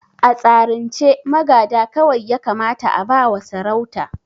A tsarin ce magada kawai ya kamata a ba wa sarauta